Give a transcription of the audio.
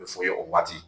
A bɛ fɔ o ye o waati